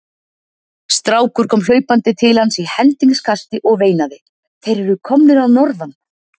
Strákur kom hlaupandi til hans í hendingskasti og veinaði:-Þeir eru komnir að norðan!